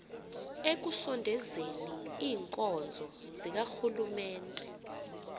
ekusondezeni iinkonzo zikarhulumente